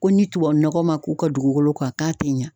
Ko ni tubabu nɔgɔ ma k'u ka dugukolo kan k'a tɛ ɲa.